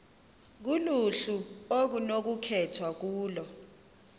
kuluhlu okunokukhethwa kulo